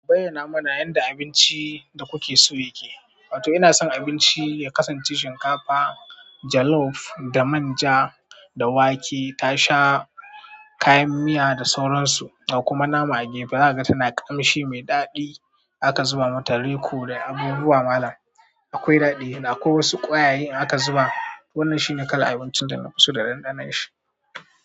Ku bayyana, muna yanda abinci da kuke so yake. To ina son abinci ya kasance shinkafa jollof da manja da wake tasha kayan miya da sauransu, da kuma nama a gefe. Zakaga tana kamshi mai daɗi aka zuba mata rico da abubuwa malam akwai daɗi. Da akwai wasu kwayaye da aka zuba. Wannan shi ne kala abincin da nafiso da ɗanɗanon shi.